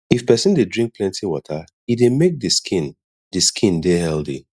if person dey drink plenty water e dey make di skin di skin dey healthy